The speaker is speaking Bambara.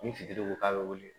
Ni fitiri ko k'a bɛ wele